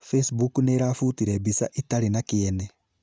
Facebook nĩiravutire mbica itarĩ na kĩene